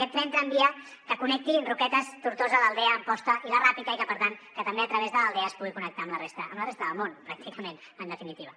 aquest tren tramvia que connecti roquetes tortosa l’aldea amposta i la ràpita i per tant que també a través de l’aldea es pugui connectar amb la resta del món pràcticament en definitiva